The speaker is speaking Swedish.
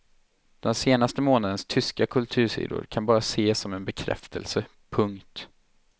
Den senaste månadens tyska kultursidor kan bara ses som en bekräftelse. punkt